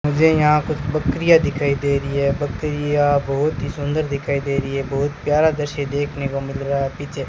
मुझे यहां कुछ बकरियां दिखाई दे रही है बकरियां बहोत ही सुंदर दिखाई दे रही है बहुत प्यारा दृश्य देखने को मिल रहा है पीछे--